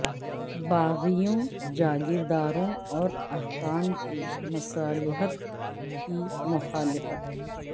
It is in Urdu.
باغیوں جاگیر داروں اور حکام کی مصالحت کی مخالفت